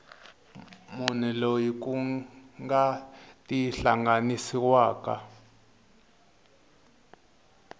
munhu loyi ku nga tihlanganisiwaka